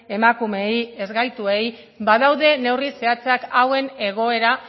emakumeei ezgaituei badaude neurri zehatzak hauen egoera